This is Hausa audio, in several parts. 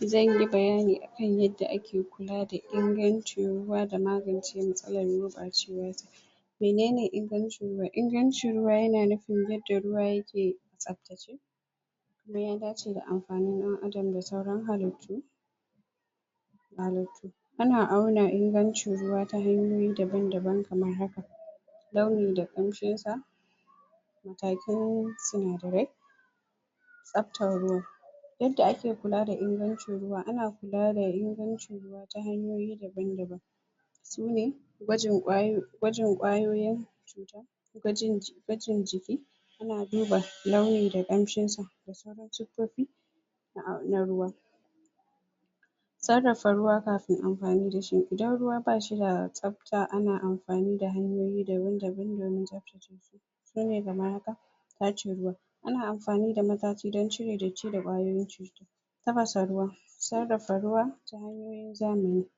Zan yi bayani akan yadda ake kula da ingancin ruwa da magance matsalar gurɓacewar sai, menene ingancin ruwa, ingancin ruwa yana nufin yadda ruwa yake tsabtace kuma ya dace da amfanin ɗan Adam da sauran halittu ana suna ingancin ruwa ta hanyoyi daban daban kamar haka, launi da ƙamshin sa matakan sunadarai tsabtan ruwa Yadda ake Kula da ingancin ruwa, ana kula da ingancin ruwa ta hanyoyi daban daban sune ta hanyoyi daban daban, gwajin kwayoyin gwajin jiki ana duba launi da ƙamshin sa da sauran suffofi na ruwa. Sarrafa ruwa kafin anfani da shi idan ruwa bashi da tsab ta ana anfani da hanyoyi daban, tdaban domin tsabtace shi shi ne kamar haka tace ruwa ana anfani da matace dan cire datti da kwayoyin cuta tafasa tuwa tafasa ruwa sarrafa ruwa sarrafa ruwa sarrafa ruwa ta hanyoyin zamani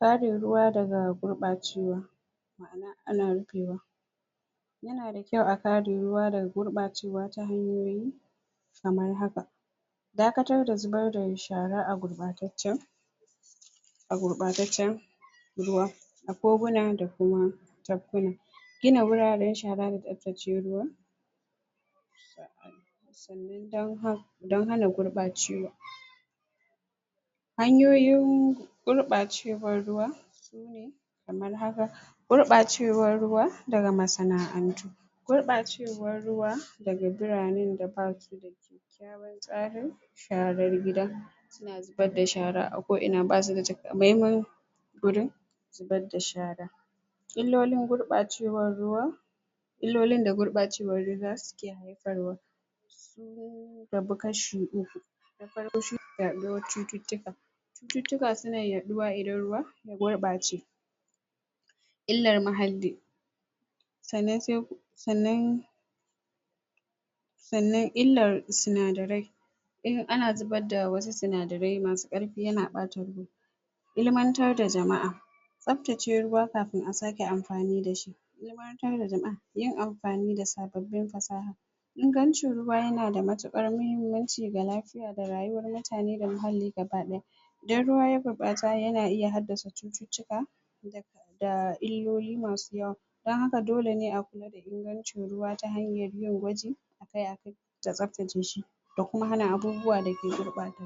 kare ruwa daga gurɓacewa ana rufewa yana da kyau a kare ruwa ta hanyoyi kamar haka dakatar da zubar da shara a gurɓatacce a gubataccen ruwa koguna da kuma tabkuna gina wuraren shara da tsabtace ruwa dan hana dan hana gurɓacewa hanyoyin gurɓacewan ruwa sune kamar haka, gurɓacewar ruwa daga masana'antu, gurɓacewar ruwa daga biranen da basu da daga biranen da basu da kyakkyawan tsari tsarar gida suna zubar da shara a ko ina basu da takamaiman. wurin zubar da shara Illolin gurɓacewar ruwa illolin da gurɓacewar ruwa suke haifarwa sun rabu kashi uku, na farko shi ne yaɗuwar cututtuka cututtukan suna yaɗuwa idan ruwa ya gurbace illar nuhaali sannan sai sannan sannan, sannan illar sunadarai in ana zubar da wasu sinadarai masu karfi yana ɓata ruwa,, ilmantar da jama'a, tsabtace ruwa kafin a sake anfani da shi, ilmantar da jama'a, yin am fani da sababbin fasaha Ingancin ruwa yana da matukar muhimmanci ga lafiya da rayuwar mutane da muhalli gaba daya.. Idan ruwa ya gurɓata yana iya haddasa cututtuka da illolin masu yawa dan haka dole ne a kula da ingancin ruwa ta hanyar yin gwajin akai akai da tsabtace shi da tsabtace shi da hana abubuwa da ke gurbata shi